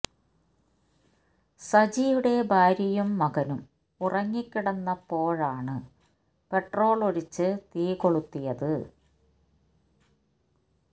സജിയുടെ ഭാര്യയും മകനും ഉറങ്ങി കിടന്നപ്പോഴാണ് പെട്രോള് ഒഴിച്ച് തീ കൊളുത്തിയത്